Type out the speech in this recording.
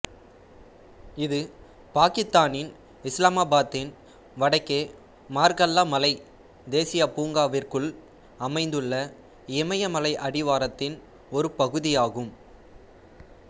இது பாக்கித்தானின் இஸ்லாமாபாத்தின் வடக்கே மார்கல்லா மலை தேசியப் பூங்காவிற்குள் அமைந்துள்ள இமயமலை அடிவாரத்தின் ஒரு பகுதியாகும்